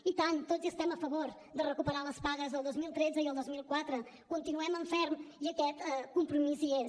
i tant tots hi estem a favor de recuperar les pagues del dos mil tretze i el dos mil catorze continuem en ferm i aquest compromís hi és